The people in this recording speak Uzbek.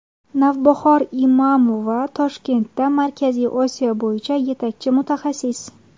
Navbahor Imamova Vashingtonda Markaziy Osiyo bo‘yicha yetakchi mutaxassis.